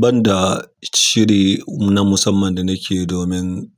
Banda shiri na musamman da nake yi domin